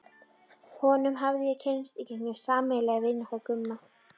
Honum hafði ég kynnst í gegnum sameiginlega vini okkar Gumma.